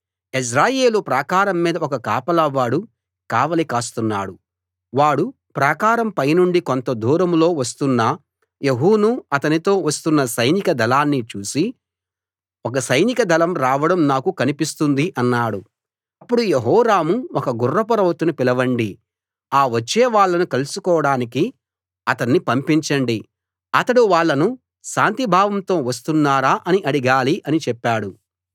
యెజ్రెయేలు ప్రాకారం మీద ఒక కాపలా వాడు కావలి కాస్తున్నాడు వాడు ప్రాకారం పైనుండి కొంత దూరంలో వస్తున్న యెహూనూ అతనితో వస్తున్న సైనిక దళాన్నీ చూసి ఒక సైనిక దళం రావడం నాకు కనిపిస్తుంది అన్నాడు అప్పుడు యెహోరాము ఒక గుర్రపు రౌతును పిలవండి ఆ వచ్చేవాళ్ళను కలుసుకోడానికి అతణ్ణి పంపించండి అతడు వాళ్ళను శాంతిభావంతో వస్తున్నారా అని అడగాలి అని చెప్పాడు